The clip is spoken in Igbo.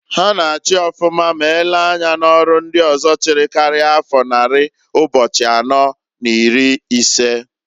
Ha na-achi ọfụma m elee anya n'ọrụ ndị ọzọ chịrị karia afọ nnari ụbo̼chi̼ anọọ n'iri isee.